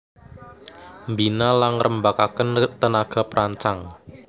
Mbina la ngrembakakaken tenaga perancang